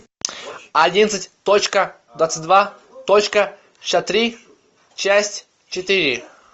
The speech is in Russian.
одиннадцать точка двадцать два точка шестьдесят три часть четыре